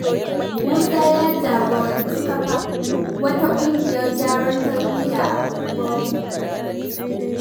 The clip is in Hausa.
Musa ya jagoranci kafa wata ƙungiyar gyaran tarbiyya a ungwarmu.